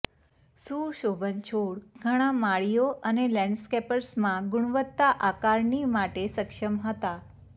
સુશોભન છોડ ઘણા માળીઓ અને લેન્ડસ્કેપર્સમાં ગુણવત્તા આકારણી માટે સક્ષમ હતા